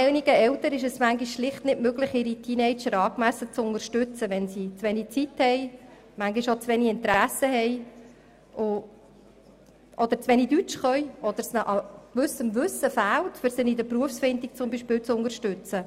Einigen Eltern ist es zudem schlicht nicht immer möglich, ihre Teenager angemessen zu unterstützen, weil sie zu wenig Zeit haben oder zu wenig gut Deutsch sprechen oder weil es an spezifischem Wissen fehlt, um sie zum Beispiel bei der Berufsfindung zu unterstützen.